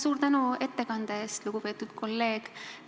Suur tänu ettekande eest, lugupeetud kolleeg!